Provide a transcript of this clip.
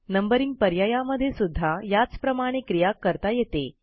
numbering पर्यायामध्ये सुध्दा याचप्रमाणे क्रिया करता येते